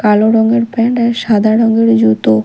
কালো রঙের প্যান্ট আর সাদা রঙের জুতো।